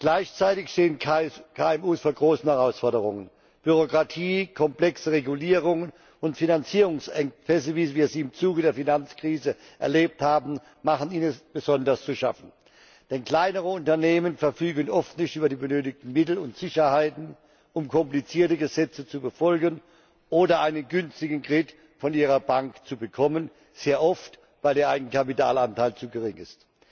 Gleichzeitig stehen KMU vor großeren Herausforderungen Bürokratie, komplexe Regulierungen und Finanzierungsengpässe, wie wir sie im Zuge der Finanzkrise erlebt haben, machen ihnen besonders zu schaffen. Denn kleinere Unternehmen verfügen oft nicht über die benötigten Mittel und Sicherheiten, um komplizierte Gesetze zu befolgen oder einen günstigen Kredit von ihrer Bank zu bekommen, sehr oft, weil der Eigenkapitalanteil zu gering ist.